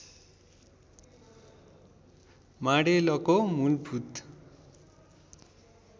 माडेलको मूलभूत